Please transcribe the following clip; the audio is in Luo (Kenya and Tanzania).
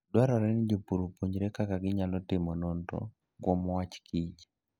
Dwarore ni jopur opuonjre kaka ginyalo timo nonro kuom wach kich